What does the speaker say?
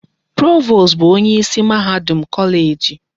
Provost bụ onyeisi mahadum kọleeji.